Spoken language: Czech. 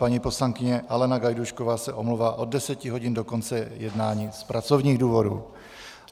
Paní poslankyně Alena Gajdůšková se omlouvá od deseti hodin do konce jednání z pracovních důvodů.